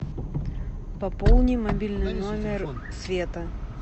пополни мобильный номер света